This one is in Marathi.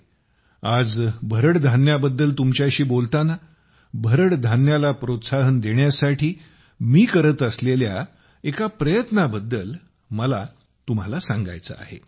मित्रहो आज भरड धान्याबद्दल तुमच्याशी बोलताना भरड धान्याला प्रोत्साहन देण्यासाठी मी करत असलेल्या एका प्रयत्नाबद्दल मला तुम्हाला सांगायचे आहे